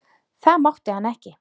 Það mátti hann ekki.